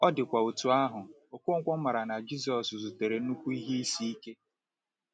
Ọ dịkwa otú ahụ, Okonkwo maara na Jisọshụ zutere nnukwu ihe isi ike.